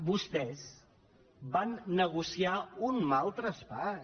vostès van negociar un mal traspàs